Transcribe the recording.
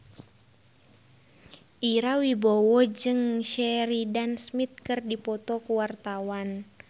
Ira Wibowo jeung Sheridan Smith keur dipoto ku wartawan